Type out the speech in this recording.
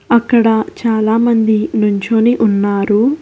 అక్కడ చాలా మంది నించొని ఉన్నారు.